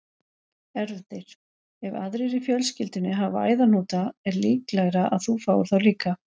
Erfðir- Ef aðrir í fjölskyldunni hafa æðahnúta er líklegra að þú fáir þá líka.